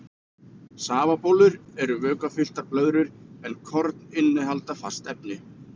Safabólur eru vökvafylltar blöðrur en korn innihalda fast efni.